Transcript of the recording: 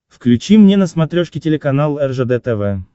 включи мне на смотрешке телеканал ржд тв